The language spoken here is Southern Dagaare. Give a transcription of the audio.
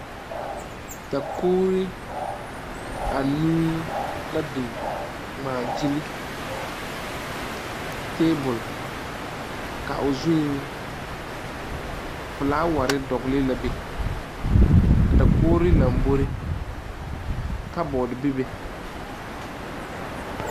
Dakogre anuu la biŋ ŋmaa gyile tabul. Ka o zuŋ, fulaware dogle la be. A dakogre lambɔre, kabɔt be be